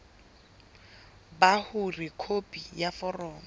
ba hore khopi ya foromo